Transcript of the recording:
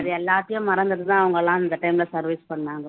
அது எல்லாத்தையும் மறந்துட்டு தான் அவங்க எல்லாம் அந்த time ல service பண்ணாங்க